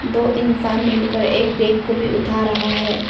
दो इंसान मिलकर एक बेग को भी उठा रहा हैं।